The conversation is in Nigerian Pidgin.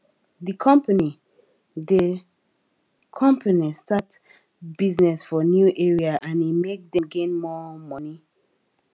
the company the company start business for new area and e make dem gain more money